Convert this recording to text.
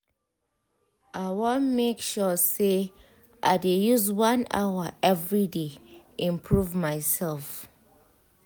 i wan make sure say i dey use one hour every day improve myself.